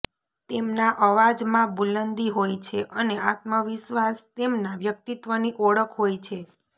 તેમના અવાજમાં બુલંદી હોય છે અને આત્મવિશ્વાસ તેમના વ્યક્તિત્વની ઓળખ હોય છે